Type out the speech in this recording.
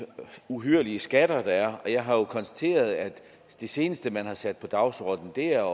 uhyrlige skatter der er og jeg har jo konstateret at det seneste man har sat på dagsordenen er